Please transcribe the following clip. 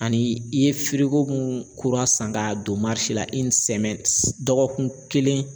Ani i ye mun kura san k'a don la dɔgɔkun kelen